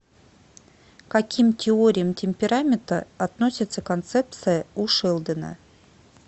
к каким теориям темперамента относится концепция у шелдона